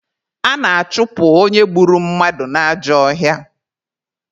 A na-achụpụ onye gburu mmadụ n'ajọ ọhịa.